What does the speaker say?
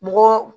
Mɔgɔ